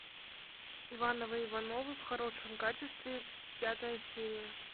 ивановы ивановы в хорошем качестве пятая серия